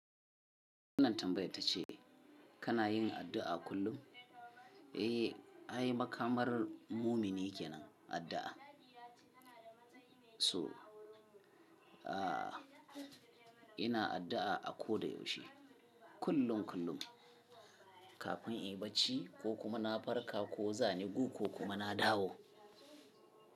Wannan tambaya tace kana yin addu'a kullum? Eh, ai makamar mumini kenan addu'a. So, aah, ina addu'a a koda yaushe, kullun kullum, kafin inyi bacci ko kuma na farka ko zani ko kuma na dawo.